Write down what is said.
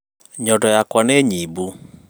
Nyondo yakwa nĩnyibu